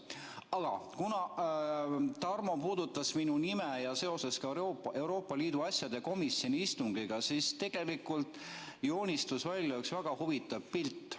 Aga kuna Tarmo puudutas minu nime seoses Euroopa Liidu asjade komisjoni istungiga, siis tegelikult joonistus välja üks väga huvitav pilt.